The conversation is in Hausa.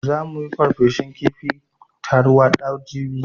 Za mu yi farfesun kifin tarwaɗa jibi